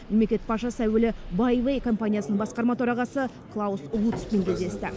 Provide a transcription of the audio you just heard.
мемлекет басшысы әуелі байвей компаниясының басқарма төрағасы клаус лутцпен кездесті